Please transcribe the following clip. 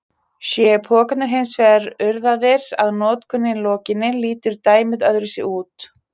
Séu pokarnir hins vegar urðaðir að notkun lokinni lítur dæmið öðruvísi út.